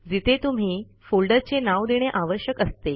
जिथे तुम्ही फोल्डरचे नाव देणे आवश्यक असते